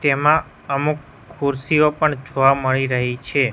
તેમા અમુક ખુરસીઓ પણ જોવા મળી રહી છે.